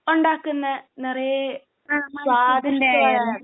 ഉണ്ടാക്കുന്ന നിറയെ സ്വാദിഷ്ടമായ